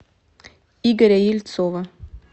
игоря ельцова